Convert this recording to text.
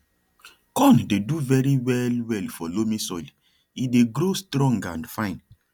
corn dey do very well well for loamy soil e dey grow strong and fine